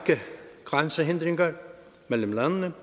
grænsehindringer mellem landene